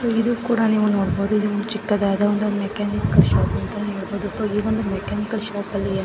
ಇದು ಕೂಡ ನೀವೇ ನೋಡಬಹುದು ಇದೊಂದು ಚಿಕ್ಕದಾದ ಒಂದು ಮೆಕಾನಿಕ್ನಿಕ್ ಶಾಪ್ ಸೋ ಈ ಒಂದು ಮೆಕ್ಯಾನಿಕ್ಶಾಪಲ್ಲಿ --